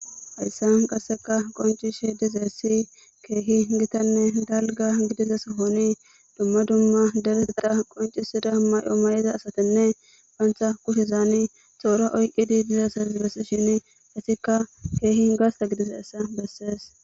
Hayssan gasseka qoncishe dizeessi keehi gitanne dalga gidize sohoni dumma dumma dereseta qoncisida may7o may7iza asatenne pantha kushezaani xoora oyqqidi dizeeses bessi shin hasikka keehi gasta gidizeessa bessees